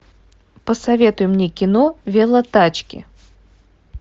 посоветуй мне кино велотачки